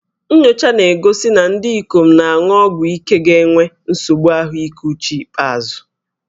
Nnyocha na-egosi na ndị ikom na-aṅụ ọgwụ ike ga-enwe nsogbu ahụike uche n'ikpeazụ